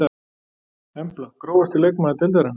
Embla Grófasti leikmaður deildarinnar?